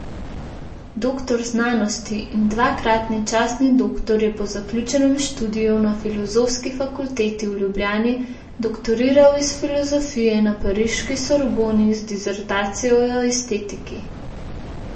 Doktor znanosti in dvakratni častni doktor je po zaključenem študiju na Filozofski fakulteti v Ljubljani doktoriral iz filozofije na pariški Sorboni z disertacijo o estetiki.